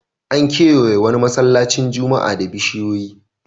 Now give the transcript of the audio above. An kewaye wani masallacin juma'a da bishiyoyi.